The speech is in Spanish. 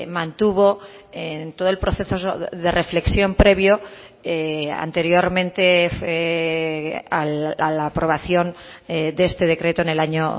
mantuvo en todo el proceso de reflexión previo anteriormente a la aprobación de este decreto en el año